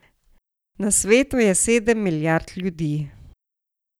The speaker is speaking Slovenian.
Na svetu je sedem milijard ljudi.